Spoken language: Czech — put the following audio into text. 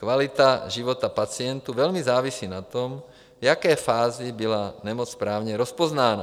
Kvalita života pacientů velmi závisí na tom, v jaké fázi byla nemoc správně rozpoznána.